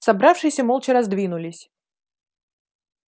собравшиеся молча раздвинулись